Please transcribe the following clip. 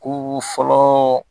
Ko fɔlɔ